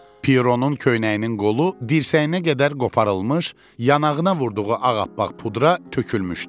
Pieronun köynəyinin qolu dirsəyinə qədər qoparılmış, yanağına vurduğu ağappaq pudra tökülmüşdü.